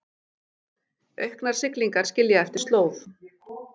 Auknar siglingar skilja eftir slóð